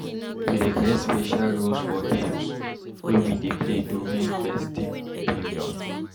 We dey create special rules for games wey we dey play during festive periods.